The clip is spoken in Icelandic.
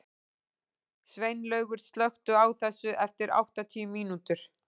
Sveinlaugur, slökktu á þessu eftir áttatíu mínútur.